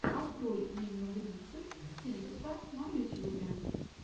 открой инну грицык стилиста на ютьюбе